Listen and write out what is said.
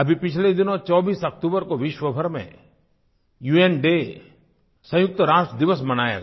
अभी पिछले दिनों 24 अक्तूबर को विश्वभर में उन डे संयुक्तराष्ट्र दिवस मनाया गया